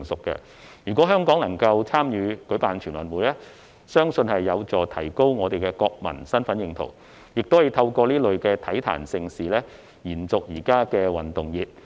如果香港能參與舉辦全運會，相信有助提高國民的身份認同，亦可透過這類體壇盛事延續現時的運動熱。